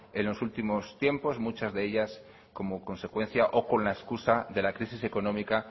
en los últimos tiempos muchas de ellas como consecuencia o con la escusa de la crisis económica